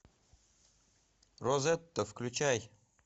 розетта включай